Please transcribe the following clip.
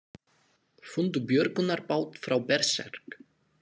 Fundu björgunarbát frá Berserk